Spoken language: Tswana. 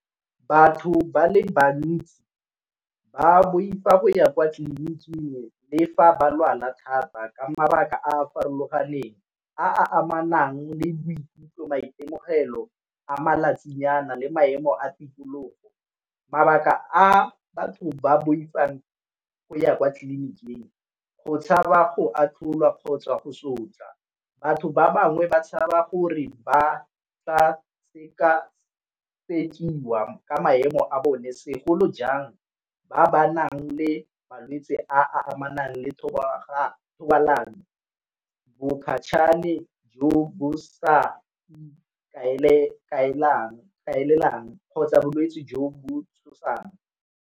Batho ba le bantsi ba boifa go ya kwa tleliniking ke le fa ba lwala thata ka mabaka a a farologaneng a amanang le boikutlo, maitemogelo, a malatsi nyana le maemo a tikologo. Mabaka a batho ba boifang go ya kwa tleliniking go tshaba go atlholwa kgotsa go sotlhwa. Batho ba bangwe ba tshaba gore ba tla seka-sekiwa ka maemo a bone segolo jang ba ba nang le malwetsi a a amanang le thobalano. jo bo sa ikaelelang kgotsa bolwetsi jo bo tshosang.